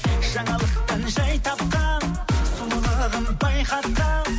жаңалықтан жай тапқан сұлулығың байқатқан